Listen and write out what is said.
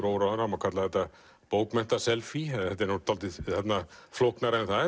óráðinn það má kalla þetta bókmenntaselfí þetta er dálítið flóknara en það